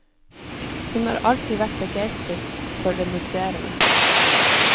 Hun har alltid vært begeistret for det musserende.